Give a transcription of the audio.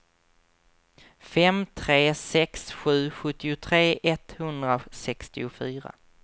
fem tre sex sju sjuttiotre etthundrasextiofyra